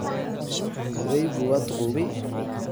Odaygu waa duqoobay.